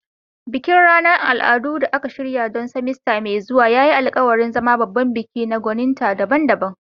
Bikin ranar al'adu da aka shirya don semester mai zuwa ya yi alkawarin zama babban bikin na gwaninta daban-daban.